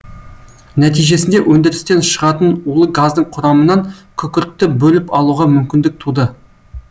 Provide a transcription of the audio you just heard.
нәтижесінде өндірістен шығатын улы газдың құрамынан күкіртті бөліп алуға мүмкіндік туды